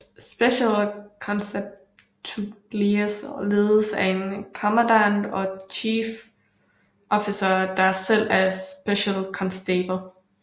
Special Constabularies ledes af en Commandant eller Chief Officer der selv er Special Constable